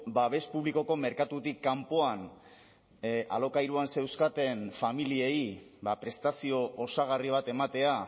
babes publikoko merkatutik kanpoan alokairuan zeuzkaten familiei prestazio osagarri bat ematea